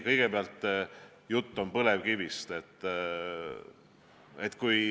Kõigepealt, juttu oli põlevkivist.